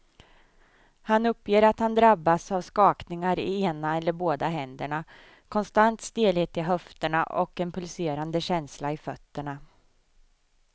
Han uppger att han drabbas av skakningar i ena eller båda händerna, konstant stelhet i höfterna och en pulserande känsla i fötterna.